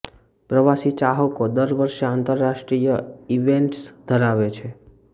પ્રવાસી ચાહકો દર વર્ષે આંતરરાષ્ટ્રીય ઇવેન્ટ્સ ધરાવે છે